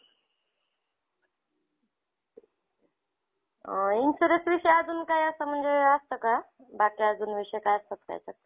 अ insurance विषय अजून काय असं म्हणजे असतं का बाकी अजून विषय असतात का याच्यात?